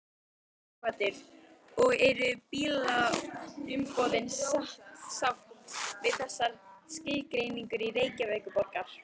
Sighvatur: Og eru bílaumboðin sátt við þessa skilgreiningu Reykjavíkurborgar?